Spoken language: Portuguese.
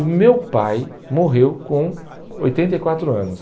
O meu pai morreu com oitenta e quatro anos